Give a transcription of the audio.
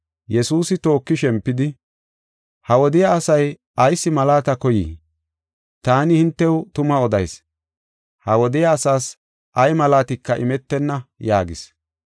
Yesuusi tooki shempidi, “Ha wodiya asay ayis malaata koyii? Taani hintew tuma odayis; ha wodiya asaas ay malaatika imetenna” yaagis.